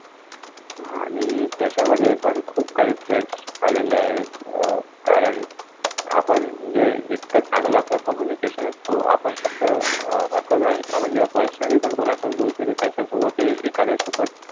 आणि त्याच्यामध्ये पण खूप काइ टेफ्ट्स आलेले आहेत अं कारण आपण जे जितकं चांगलं कम्युनिकेशन असतो आपण फक्त अह असं नाही. आपण जेव्हा पर्सनली पण कुणाचं बोलतो त्याच्यासोबतही एखाद्यासोबत.